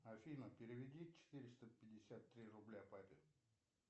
афина переведи четыреста пятьдесят три рубля папе